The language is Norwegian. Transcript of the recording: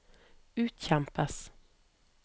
utkjempes